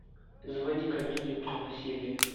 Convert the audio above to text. заводи комедию про насилие